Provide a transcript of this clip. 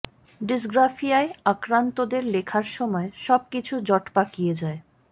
ডিসগ্রাফিয়ায় আক্রান্তদের লেখার সময়ে সব কিছু জট পাকিয়ে যায়